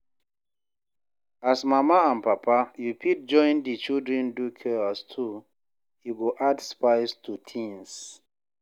As mama and papa, you fit join di children do chores too, e go add spice to things